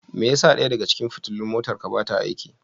Me yasa ɗaya daga cikin fitilun motarka ba ta aiki?